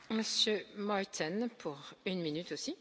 Frau Präsidentin, Herr Vizekommissionspräsident!